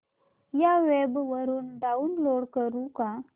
या वेब वरुन डाऊनलोड करू का